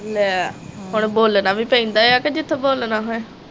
ਲੈ ਹੁਣ ਬੋਲਣਾ ਵੀ ਪੈਂਦਾ ਆ ਕੇ ਜਿਥੇ ਬੋਲਣਾ ਹੋਇਆ।